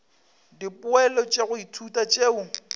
dipoelo tša go ithuta tšeo